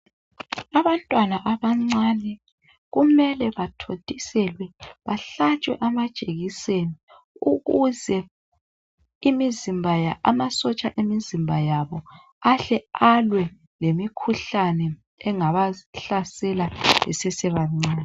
Abantwana abancane kumele bathontiselwe bahlatshwe amajekiseni ukuze ama sotsha emizimba yabo ahle alwe lemikhuhlane engaba hlasela besesebancane.